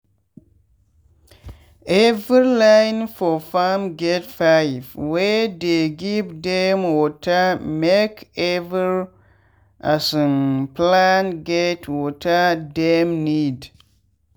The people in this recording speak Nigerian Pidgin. every line for farm get pipe wey dey give dem watermake every um plant get water dem need.